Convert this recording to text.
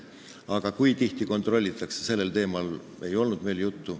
Kui tihti kontrollitakse, sellel teemal meil juttu ei olnud.